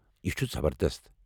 یہ چھٗ زبردست!